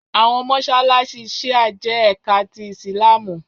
Àwọn mọṣáláṣí Shia jẹ́ ẹka ti Ìsìlámù